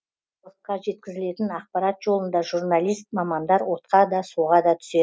халыққа жеткізілетін ақпарат жолында журналист мамандар отқа да суға да